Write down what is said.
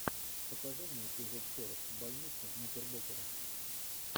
покажи мне эпизод сорок больницы никербокера